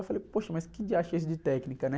Eu falei, poxa, mas que dia é esse de técnica, né